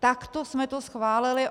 Takto jsme to schválili.